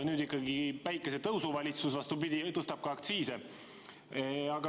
Praegune päikesetõusu valitsus, vastupidi, tõstab aktsiise.